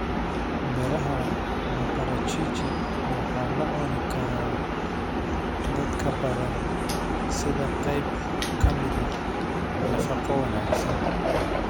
Midhaha maparachichi waxaala cunikaraa dadkabadan sidaqayb kamidah nafaqo wanaagsan.